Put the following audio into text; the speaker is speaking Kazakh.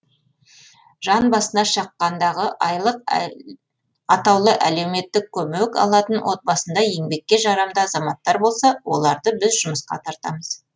жан басына шаққандағы атаулы әлеуметтік көмек алатын отбасында еңбекке жарамды азаматтар болса оларды біз жұмысқа тартамыз